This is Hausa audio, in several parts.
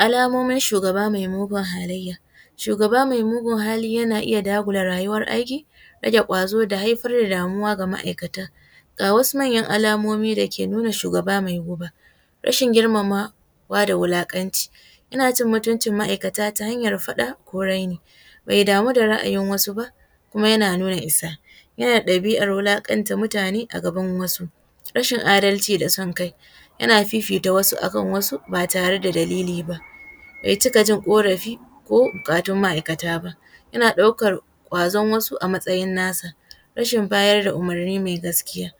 Alamomin shugaba mai mugun halayya, shugaba mai mugun hali yana iya dagula rayuwan aiki rage gwazo da haifar da damuwa ga ma’aikata, ga wasu manyan alamomi da ke nuna shugaba mai guba rashin girmamawa da wulakanci yana cin mutuncin ma’aikata ta hanyar faɗa ko raini bai damu da ra’ayin wasu kuma yana nuna isa yana da ɗabi’an wulakanta mutane a gaban wasu, rashin adalci da son kai yana fifita wasu akan wasu ba tare da dalili ba bai cika jin korafi ko bukatun ma’aikata ba, yana ɗaukan gwazon wasu a matsayin nasa, rashin bayar da umurni mai gaskiya,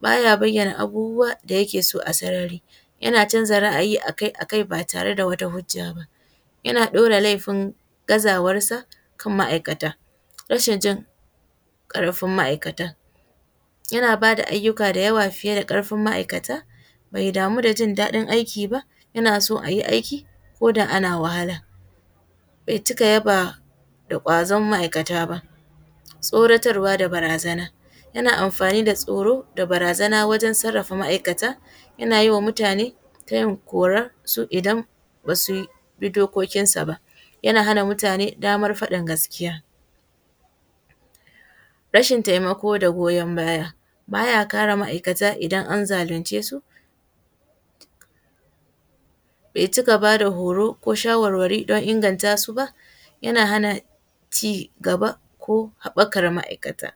baya bayana abubuwa da yake so a sarari, yana canza ra’ayi akai-akai ba tare da hujja ba, yana ɗaura laifin gazawansa akan ma’aikata, rashin jin karfin ma’aikata, yana bayar da ayyuka fiye da karfin ma’aikata, mai damu da jin daɗin aiki yana so ayi aiki ko da ana wahala, bai cika yaba da gwazon ma’aikata ba, tsoratarwa da barazana yana amfani da tsoro da barazana wajen sarafa ma’aikata, yana yi wa mutane tayin kora idan basu bi dokokinsa ba, yana hana mutane damar faɗin gaskiya, rashin taimako da goyan baya, baya kare ma’aikata idan an zalunce su, bai cika bada horo ko shawarwari don inganta su ba, yana hana cigaba ko habakar ma’aikata.